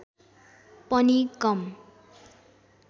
पनि कम